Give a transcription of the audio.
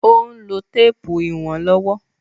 Ó n lo téèpù ìwọ̀n lówó